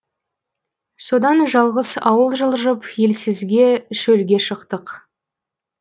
содан жалғыз ауыл жылжып елсізге шөлге шықтық